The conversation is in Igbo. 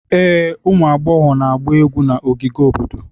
Ee, ụmụ agbọghọ na-agba egwu na ogige obodo.